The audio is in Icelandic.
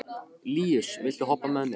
Líus, viltu hoppa með mér?